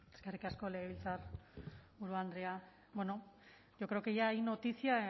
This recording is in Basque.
eskerrik asko legebiltzarburu andrea bueno yo creo que ya hay noticia